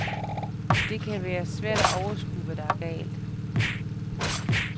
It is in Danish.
Det kan være svært at overskue, hvad der er galt.